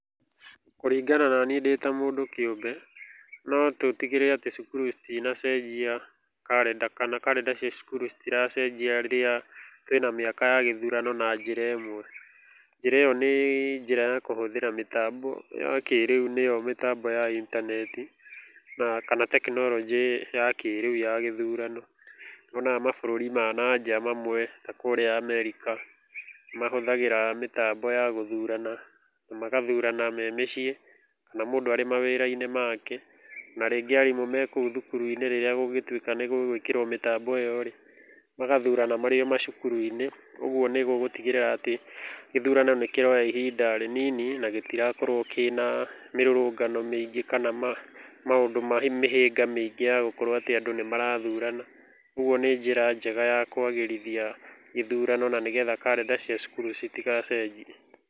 Kũringana nanĩ ndĩ ta mũndũ kĩumbe no tũtigĩrĩre atĩ cukuru citinacenjia karenda, kana karenda cia cukuru citiracenjia rĩrĩa twĩ na miaka ya gĩthũrano na njĩra ĩmwe. Njĩra iyo nĩ njĩra ya kũhũthĩra mĩtambo ya kĩrĩũ nĩ yo mĩtambo ya intaneti kana tekinoronjĩ ya kĩrĩu ya gĩthũrano. Nĩ wonaga mabũrũri ma na nja mamwe ta kũrĩa Amerika nĩ mahũthagĩra mĩtambo ya gũthũrana, magathũrana me mĩciĩ na mũndũ arĩ mawĩra-inĩ make, na ringĩ arimũ me kũu thukuru-inĩ rĩrĩa gũgũtũika nĩgũgwĩkĩrwo mĩtambo iyo magathũrana marĩ oma cukuru-inĩ. Ũguo nĩ gũgũtigĩrĩra atĩ gĩthũrano nĩkĩroya ihinda rĩnini na gĩtĩrakorwo kĩna mĩrũrũngano mĩingĩ kana maũndũ ma mĩhĩnga mĩingĩ yagũkorwo atĩ andũ nĩmarathũrana, ũguo nĩ njĩra njega ya kwagĩrĩthĩa gĩthũrano na nĩgetha karenda cia cukuru citigacenjie.